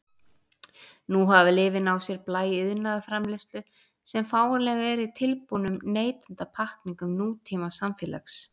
Nú hafa lyfin á sér blæ iðnaðarframleiðslu sem fáanleg er í tilbúnum neytendapakkningum nútímasamfélags.